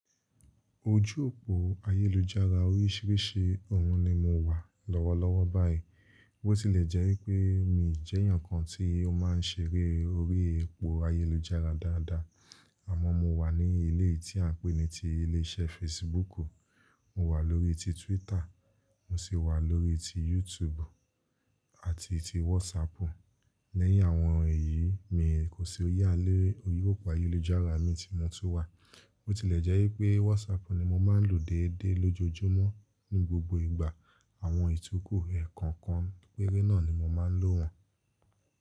Ojú òpó ayélujára oríṣiríṣi òun ni mo wà lọ́wọ́ lọ́wọ́ báyìí. Bó ti lè jẹ́ wípé mi jẹ́ èèyàn kan tí ó máa ń ṣeré orí epo ayélujára dáadáa, àmọ́ mo wà ní ilé tí à ń pè ní ti ilé iṣẹ́ Facebooku. Mo wà lórí ti Twitter, mo sì wà lórí ti YouTube àti ti WhatsAppu. Lẹ́yìn àwọn èyí mi kò sí oyé alẹ́ orí òpó ayélujára mi tí mo tú wà. Ó ti lè jẹ́ wípé WhatsAppu ni mo máa ń lò déédéé lójoojúmọ́ ní gbogbo ìgbà. Àwọn ìtukù ẹ̀ kọ̀ọ̀kan péré náà ni mo máa ń lò wọ́n.